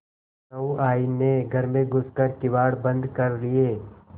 सहुआइन ने घर में घुस कर किवाड़ बंद कर लिये